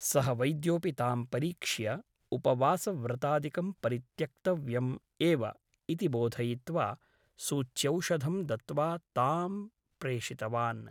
सः वैद्योऽपि तां परीक्ष्य उपवासव्रतादिकं परित्यक्तव्यम् एव ' इति बोधयित्वा सूच्यौषधं दत्त्वा तां प्रेषितवान् ।